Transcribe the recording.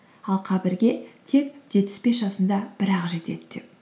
ал қабірге тек жетпіс бес жасында бірақ жетеді деп